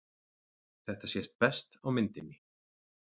Þetta sést best á myndinni.